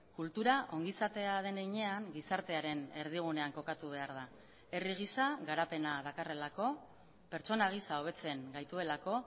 kultura ongizatea den heinean gizartearen erdigunean kokatu behar da herri gisa garapena dakarrelako pertsona gisa hobetzen gaituelako